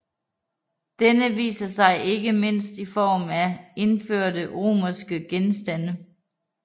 Denne viser sig ikke mindst i form af indførte romerske genstande